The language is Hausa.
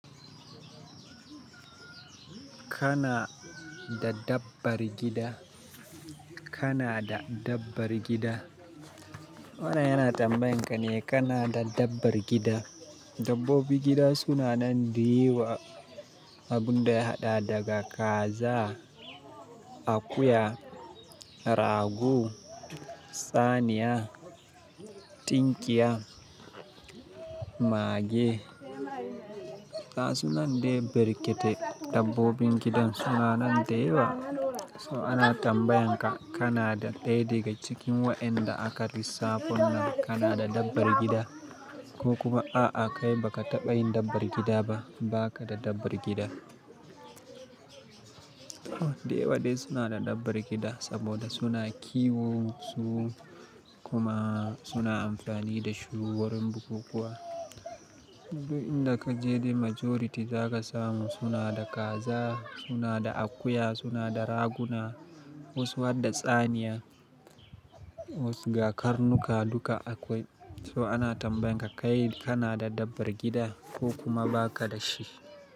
Kana da dabbar gida? Kana da dabbar gida? Wanan yana tambayan ka ne, kana da dabbar gida? Dabbobin gida suna nan da yawa. Abun da ya haɗa daga kaza, akuya, rago, tsaniya, tinkiya, mage. Ga sunan de barkete. Dabbobin gidan suna nan da yawa. So ana tambayan ka kana da ɗaya daga cikin waɗanda aka lissafon nan. Kana da dabbar gida ko kuma a'a kai baka taɓa yin dabbar gida ba, ba ka da dabbar gida. Da yawa dai suna da dabbar gida saboda suna kiwo su kuma suna amfani da shu warin bukukuwa. Duk inda kaje dai majority zaka samu suna da kaza, suna da akuya, suna da raguna wasu har da tsaniya, wasu ga karnuka duka akwai. To ana tambayan ka kai kana da dabbar gida ko kuma ba ka da shi?